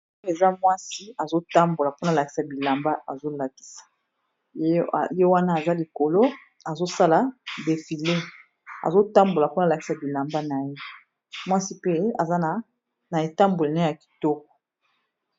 Oyo eza mwasi azo tambola mpona a lakisa bilamba azo lakisa, ye wana aza likolo azo sala defile azo tambola mpo a lakisa bilamba na ye mwasi pe aza na etamboli naye ya kitoko.